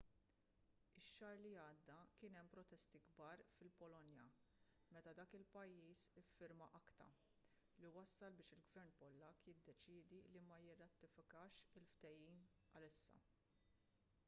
ix-xahar li għadda kien hemm protesti kbar fil-polonja meta dak il-pajjiż iffirma acta li wassal biex il-gvern pollakk jiddeċiedi li ma jirratifikax il-ftehim għalissa